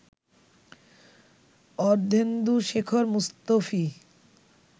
Ardhendushekhar Mustafi